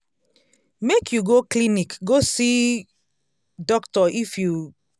make you go clinic go see um doctor if you